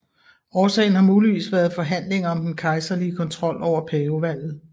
Årsagen har muligvis været forhandlinger om den kejserlige kontrol over pavevalget